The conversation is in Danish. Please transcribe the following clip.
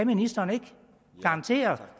ministeren ikke kan garantere